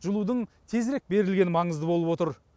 жылудың тезірек берілгені маңызды болып отыр